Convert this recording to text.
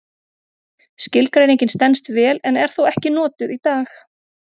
Skilgreiningin stenst vel en er þó ekki notuð í dag.